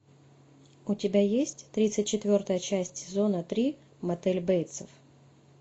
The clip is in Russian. у тебя есть тридцать четвертая часть сезона три мотель бейтсов